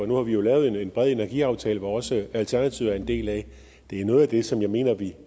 nu har vi jo lavet en bred energiaftale som også alternativet er en del af det er noget af det som jeg mener vi